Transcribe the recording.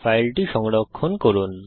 ফাইলটি সংরক্ষণ করুন